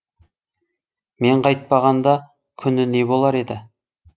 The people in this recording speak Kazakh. мен қайтпағанда күні не болар еді